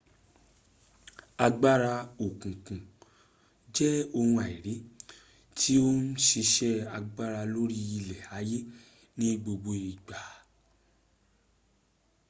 agbara okunkun je ohun aiiri ti o n sise agbara lori ile aye ni gbogbo igba